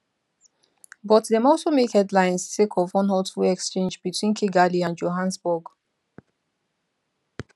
but dem also make headlines sake of one hurtful exchange between kigali and johannesburg